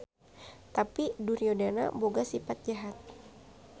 Tapi Duryodana boga sipat jahat.